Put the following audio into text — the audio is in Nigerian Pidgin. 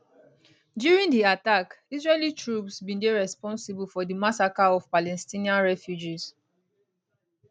during di attack israeli troops bin dey responsible for di massacre of palestinian refugees